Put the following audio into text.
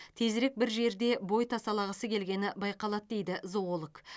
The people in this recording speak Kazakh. тезірек бір жерде бой тасалағысы келгені байқалады дейді зоолог